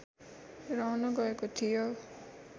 रहन गएको थियो